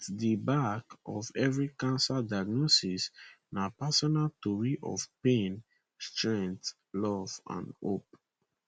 at di back of of every cancer diagnosis na personal tori of pain strength love and hope